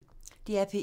DR P1